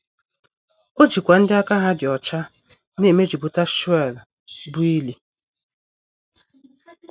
O jikwa ndị aka ha dị ọcha na - emejupụta Sheol, bụ́ ili.